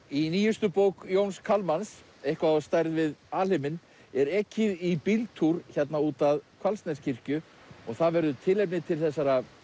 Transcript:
í nýjustu bók Jóns Kalmans eitthvað á stærð við alheiminn er ekið í bíltúr hérna út að Hvalsneskirkju og það verður tilefni til þessara